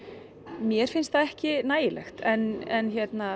mér finnst það ekki nægilegt en